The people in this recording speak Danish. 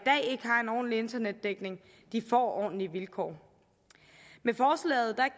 har en ordentlig internetdækning får ordentlige vilkår med forslaget